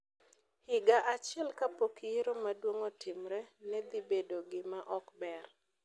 higa achiel kapok yiero maduong’ otimre, ne dhi bedo gima ok ber.